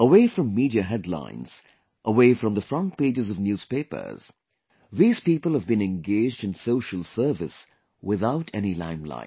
Away from media headlines, away from the front pages of newspapers, these people have been engaged in social service without any limelight